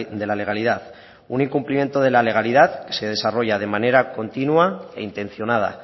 de la legalidad un incumplimiento de la legalidad que se desarrolla de manera continua e intencionada